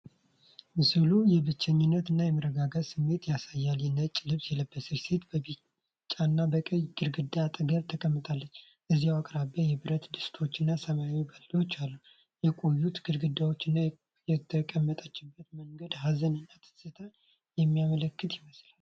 ምስሉ የብቸኝነትን እና መረጋጋትን ስሜት ያሳያል። ነጭ ልብስ የለበሰች ሴት በቢጫና በቀይ ግድግዳ አጠገብ ተቀምጣለች፤ እዚያው አቅራቢያ የብረት ድስቶችና ሰማያዊ ባልዲዎች አሉ። የቆዩት ግድግዳዎች እና የተቀመጠችበት መንገድ ሀዘንን እና ትዝታን የሚያመለክቱ ይመስላል።